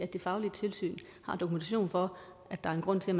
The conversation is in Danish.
det faglige tilsyn har dokumentation for at der er en grund til